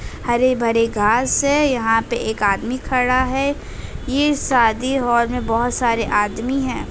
हरे-भरे घाँस हैं। यहाँ पे एक आदमी खड़ा है। ये शादी हाल में बहोत सारे आदमी हैं।